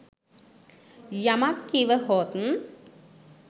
යමක් කිව හොත්